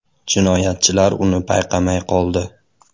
Jinoyatchilar uni payqamay qoldi.